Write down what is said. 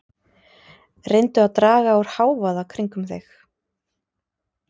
Reyndu að draga úr hávaða kringum þig.